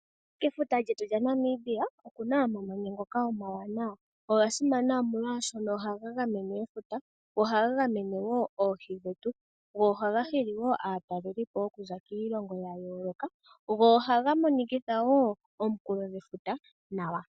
Kefuta lyetu lyaNamibia okuna omamanya omawanawa. Oga simana molwashoka ohaga gamene efuta go ohaga gamene woo Oohi dhetu. Go ohaga hili wo aatalelipo okuza kiilongo ya yooloka . Go ohaga monikitha woo omunkulo gwefuta nawa.